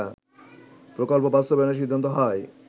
প্রকল্প বাস্তবায়নের সিদ্ধান্ত হয়